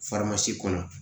kɔnɔ